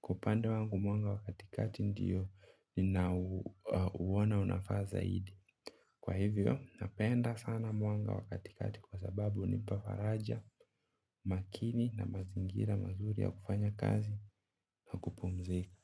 Kwa upande wangu mwanga wa katikati ndiyo ninauona unafaa zaidi. Kwa hivyo, napenda sana mwanga wa katikati kwa sababu hunipa faraja makini na mazingira mazuri ya kufanya kazi na kupumzika.